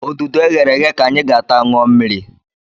Odudu e ghere eghe ka anyị ga-ata, ṅụọ mmiri